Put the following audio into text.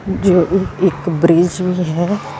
ਜੋ ਇੱਕ ਇੱਕ ਬ੍ਰਿਜ ਹੈ।